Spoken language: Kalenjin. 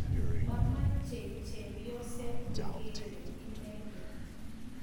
Mamechei chepyoset negeree inendet